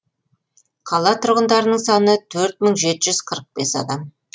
қала тұрғындарының саны төрт мың жеті жүз қырық бес адамды құрайды